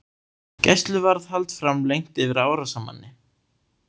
Gæsluvarðhald framlengt yfir árásarmanni